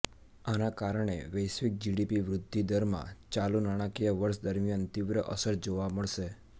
આના કારણે વૈશ્વિક જીડીપી વૃદ્ધિદરમાં ચાલુ નાણાકીય વર્ષ દરમિયાન તીવ્ર અસર જોવા મળશે